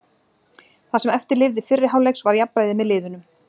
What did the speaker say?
Það sem eftir lifði fyrri hálfleiks var jafnræði með liðunum.